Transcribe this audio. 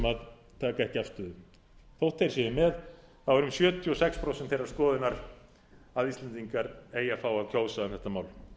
taka ekki afstöðu þótt þeir séu með eru um sjötíu og sex prósent þeirrar skoðunar að íslendingar eigi að fá að kjósa um þetta mál